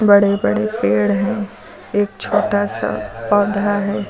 बड़े बड़े पेड़ हैं एक छोटा सा पौधा है।